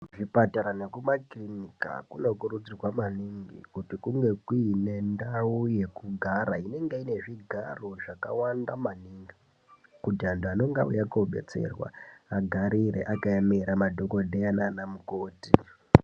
Kuzvipatara nekumakirinika kunokurudzirwa maningi kuti kunge kuine ndau yekugara inenge iine zvigara zvakawanda maningi zvekuti vantu vanenge vauya kobatsirwa avarice akaemera madhokodheya nanamukoti.